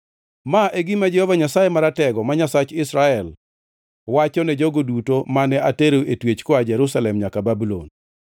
Ma e gima Jehova Nyasaye Maratego, ma Nyasach Israel, wacho ne jogo duto mane atero e twech koa Jerusalem nyaka Babulon: